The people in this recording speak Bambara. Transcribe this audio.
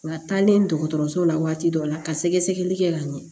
Wa taalen dɔgɔtɔrɔso la waati dɔ la ka sɛgɛsɛgɛli kɛ ka ɲɛ